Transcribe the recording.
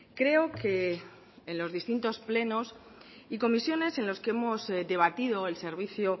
creo que en los distintos plenos y comisiones en los que hemos debatido el servicio